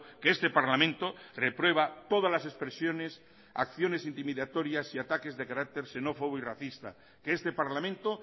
que este parlamento reprueba todas las expresiones acciones intimidatorias y ataques de carácter xenófobo y racista que este parlamento